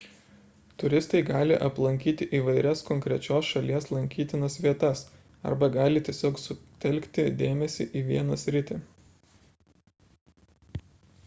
turistai gali aplankyti įvairias konkrečios šalies lankytinas vietas arba gali tiesiog sutelkti dėmesį į vieną sritį